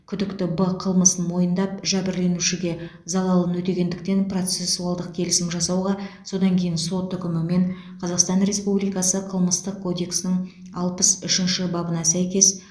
күдікті б қылмысын мойындап жәбірленушіге залалын өтегендіктен процессуалдық келісім жасауға содан кейін сот үкімімен қазақстан республикасы қылмыстық кодексінің алпыс үшінші бабына сәйкес